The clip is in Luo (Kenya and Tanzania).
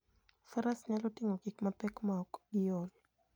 Faras nyalo ting'o gik mapek maok giol.